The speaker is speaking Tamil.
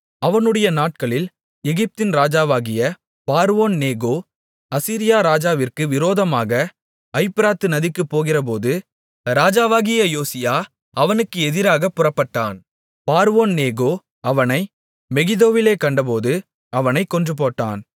அவனுடைய நாட்களில் எகிப்தின் ராஜாவாகிய பார்வோன்நேகோ அசீரியா ராஜாவிற்கு விரோதமாக ஐப்பிராத்து நதிக்குப் போகிறபோது ராஜாவாகிய யோசியா அவனுக்கு எதிராகப் புறப்பட்டான் பார்வோன்நேகோ அவனை மெகிதோவிலே கண்டபோது அவனைக் கொன்றுபோட்டான்